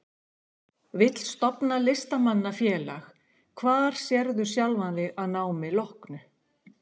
Vill stofna Listamanna-félag Hvar sérðu sjálfan þig að námi loknu?